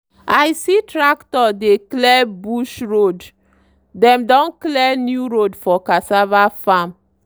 i see tractor dey clear bush road dem don clear new road for cassava farm.